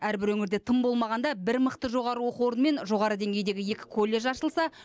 әрбір өңірде тым болмағанда бір мықты жоғары оқу орын мен жоғары деңгейдегі екі колледж ашылса